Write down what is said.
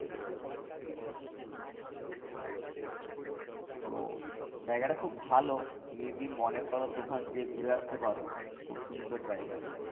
তো জায়গাটা খুব ভালো তুমি যদি মনে কর তো ওখান থেকে ঘুরে আসতে পারো। খুব সুন্দর জায়গাটা।